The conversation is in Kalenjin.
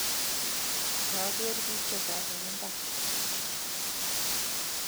kiageer bik chechang eng mbar